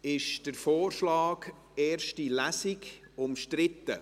Ist der Vorschlag «erste Lesung» umstritten?